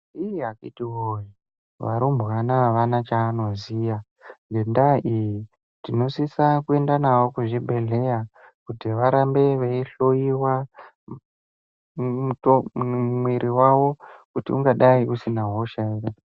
Iii akhitiwoye ,varumbwana avana chavanoziya. Ngendaa iyo, tinosisa kuenda navo kuzvibhedhleya kuti varambe veihloiwa ngemitomumwiri yavo ,kuti ungadai usina hosha ere.